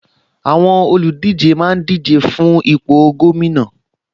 Àwọn olùdíje máa ń díje fún ipò gómìnà